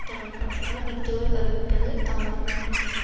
தொடரப்பட்டதால் விருதுகள் அறிவிப்பதில் தாமதம் ஏற்பட்டது